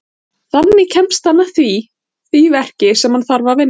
Þannig kemst hann að því verki sem hann þarf að vinna.